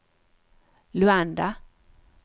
Luanda